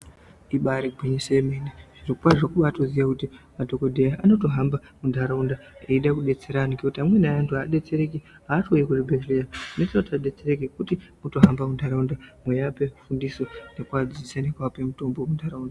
Ibari gwinyiso yomene, zvirokwazvo kubatoziyw kuti madhokodheya anotohamba muntaraunda ede kudetsera antu ngekuti amwe eantu adetsereki asi kuuya kuzvibhedhlera zvinoita kuti adetsereke kutohambe muntaraunda mweape fundiso nekuadzidzise nekuape mutombo muntaraunda.